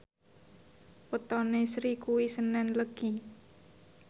wetone Sri kuwi senen Legi